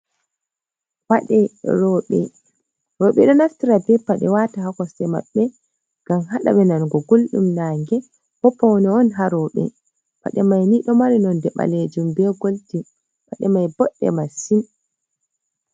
Pade roɓɓe, roɓɓe ɗo naftira be paɗe wata ha kosɗe maɓbe ngam haɗaɓe nango guldum nagge bo pawne on haroɓe, paɗe mai ni ɗomari nonde ɓalejum be goldin paɗe mai boɗɗe massin.